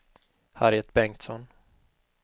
Harriet Bengtsson